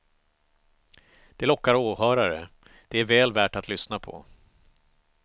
Det lockar åhörare, det är väl värt att lyssna på.